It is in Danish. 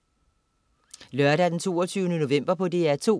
Lørdag den 22. november - DR2: